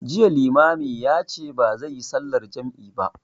Jiya limamin ya ce bazai yi sallar jam'i ba